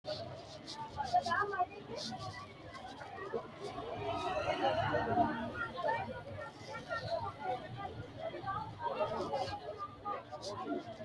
misile tini alenni nooti maa leelishanni noo? maa amadinno? Maayinni loonisoonni? mama affanttanno? xawisanori isi maati? mannu maa loosanni afamanno?